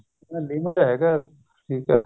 limit ਚ ਹੈਗਾ ਠੀਕ ਹੈ